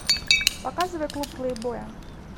показывай клуб плейбоя